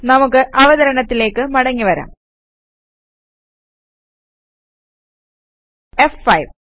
നമുക്ക് അവതരണത്തിലേക്ക് മടങ്ങി വരാം ഫ്5